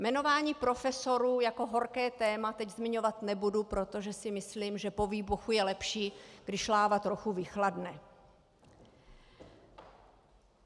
Jmenování profesorů jako horké téma teď zmiňovat nebudu, protože si myslím, že po výbuchu je lepší, když láva trochu vychladne.